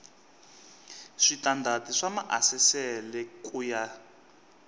switandati swa maasesele ku ya